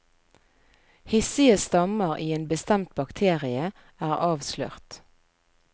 Hissige stammer i en bestemt bakterie er avslørt.